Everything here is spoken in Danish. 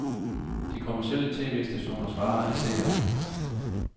De kommercielle tv-stationers vare er seere.